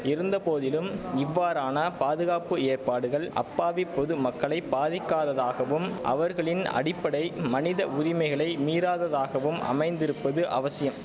இருந்த போதிலும் இவ்வாறான பாதுகாப்பு ஏற்பாடுகள் அப்பாவி பொது மக்களை பாதிக்காததாகவும் அவர்களின் அடிப்படை மனித உரிமைகளை மீறாததாகவும் அமைந்திருப்பது அவசியம்